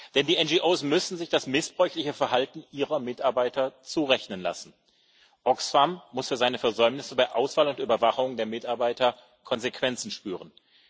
Denn die NGOs müssen sich das missbräuchliche Verhalten ihrer Mitarbeiter zurechnen lassen. Oxfam muss für seine Versäumnisse bei Auswahl und Überwachung der Mitarbeiter Konsequenzen spüren.